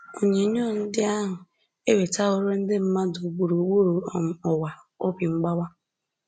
Onyinyo ndị ahụ ewetaworo ndị mmadụ gburugburu um ụwa obi mgbawa